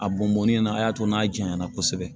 A bɔnbɔn in na a y'a to n'a jaɲa na kosɛbɛ